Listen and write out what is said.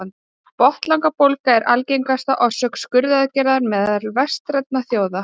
Botnlangabólga er algengasta orsök skurðaðgerða meðal vestrænna þjóða.